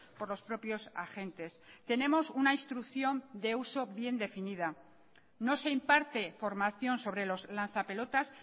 por los propios agentes tenemos una instrucción de uso bien definida no se imparte formación sobre los lanza pelotas